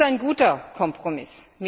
Das ist ein guter Kompromiss.